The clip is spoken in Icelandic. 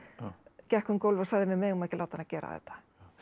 gekk um gólf og sagði við megum ekki að láta hana gera þetta